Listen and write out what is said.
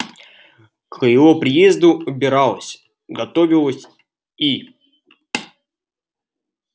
к его приезду убиралась готовилась и